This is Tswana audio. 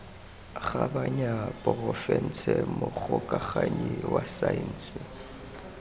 kgabanya porofense mogokaganyi wa saense